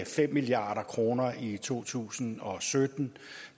fem milliard kroner i to tusind og sytten